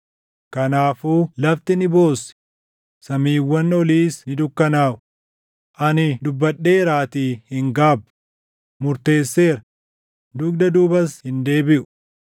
Kanaafuu lafti ni boossi; samiiwwan oliis ni dukkanaaʼu; ani dubbadheeraatii hin gaabbu; murteesseera; dugda duubas hin deebiʼu.”